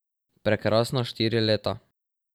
Prekrasna štiri leta.